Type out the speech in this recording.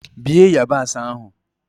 Bie yabasị ahụ!